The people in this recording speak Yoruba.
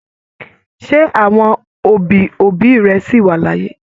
Ṣe àwọn òbí òbí rẹ sí wá l'áyé?